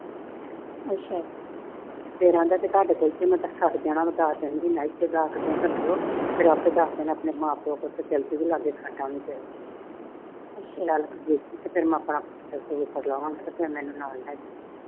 ਫਿਰ ਕਹਿਣ ਦਿਆਂ ਸਾਡੇ ਕੋਲ ਤਾਂ ਇਥੇ ਦਸ ਦਿਨ ਰੱਖੀਓ। ਫਿਰ ਆਪੇ ਦਸ ਦਿਨ ਆਪਣੇ ਮਾਂ-ਪਿਓ ਤੋਂ ਜੋਤੀ ਤੇ ਆਪਾ ਜਾਵਾਂਗੇ ਇੱਕਠੀਆਂ, ਮੈਨੂੰ ਨਾਲ ਲੈ ਜਾਈਓ।